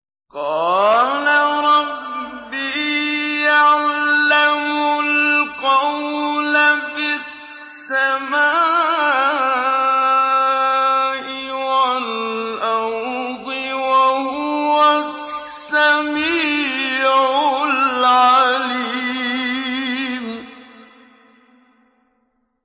قَالَ رَبِّي يَعْلَمُ الْقَوْلَ فِي السَّمَاءِ وَالْأَرْضِ ۖ وَهُوَ السَّمِيعُ الْعَلِيمُ